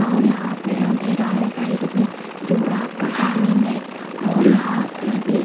और यहां पे अंधेरा है साइड में जो रात का टाइमिंग है और यहां पे भी--